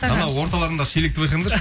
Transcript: анау орталарындағы шелекті байқаңдаршы